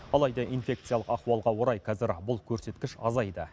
алайда инфекциялық ахуалға орай қазір бұл көрсеткіш азайды